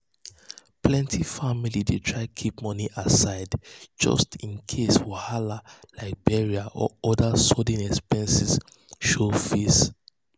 plenty families dey try keep money aside just in case wahala like burial or other sudden expenses show face.